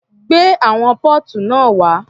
Gbé àwọn póòtù náà wá.